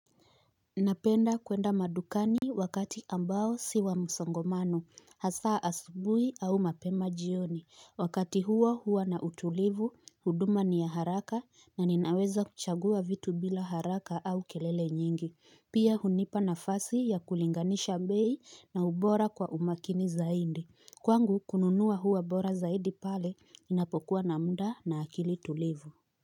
Napenda kwenda madukani wakati ambao siwa musongomano hasaa asubui au mapema jioni wakati huo huwa na utulivu huduma ni ya haraka na ninaweza kuchagua vitu bila haraka au kelele nyingi pia hunipa nafasi ya kulinganisha mbei na ubora kwa umakini zaidi kwangu kununuwa huwa bora zaidi pale ninapokuwa na muda na akili tulivu.